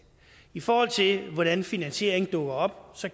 i forhold til hvordan finansieringen dukker op